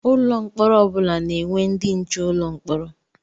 Ụlọ mkpọrọ ọ bụla na-enwe ndị nche ụlọ mkpọrọ.